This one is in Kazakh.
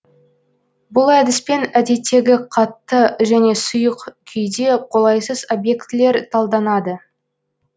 бұл әдіспен әдеттегі қатты және сұйық күйде қолайсыз объектілер талданады